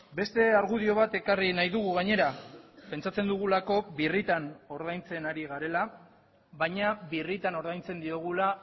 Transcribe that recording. beste argudio bat ekarri nahi dugu gainera pentsatzen dugulako birritan ordaintzen ari garela baina birritan ordaintzen diogula